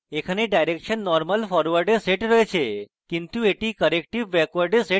সুতরাং এখানে direction normal forward এ set রয়েছে কিন্তু আমি এটি corrective backward এ set করব